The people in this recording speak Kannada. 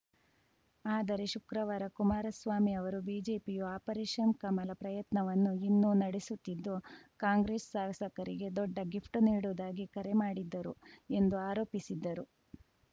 ಆದರೆ ಶುಕ್ರವಾರ ಕುಮಾರಸ್ವಾಮಿ ಅವರು ಬಿಜೆಪಿಯು ಆಪರೇಷನ್‌ ಕಮಲ ಪ್ರಯತ್ನವನ್ನು ಇನ್ನೂ ನಡೆಸುತ್ತಿದ್ದು ಕಾಂಗ್ರೆಸ್‌ ಶಾಸಕರಿಗೆ ದೊಡ್ಡ ಗಿಫ್ಟ್‌ ನೀಡುವುದಾಗಿ ಕರೆ ಮಾಡಿದ್ದರು ಎಂದು ಆರೋಪಿಸಿದ್ದರು